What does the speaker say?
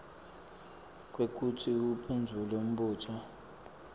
kwekutsi uphendvule umbuto